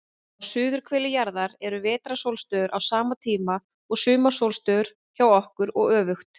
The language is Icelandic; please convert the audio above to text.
Á suðurhveli jarðar eru vetrarsólstöður á sama tíma og sumarsólstöður hjá okkur, og öfugt.